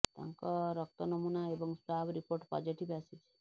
ତାଙ୍କ ରକ୍ତ ନମୁନା ଏବଂ ସ୍ୱାବ୍ ରିପୋର୍ଟ ପଜିଟିଭ୍ ଆସିଛି